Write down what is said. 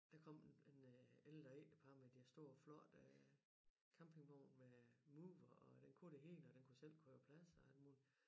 Der kom en en øh ældre ægtepar med deres store flotte campingvogn med mover og den kunne det hele og den kunne selv køre plads og alt muligt